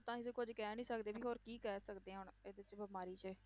ਤਾਂ ਅਸੀਂ ਕੁੱਝ ਕਹਿ ਨੀ ਸਕਦੇ ਵੀ ਹੋਰ ਕੀ ਕਹਿ ਸਕਦੇ ਹਾਂ ਹੁਣ, ਇਹਦੇ 'ਚ ਬਿਮਾਰੀ 'ਚ।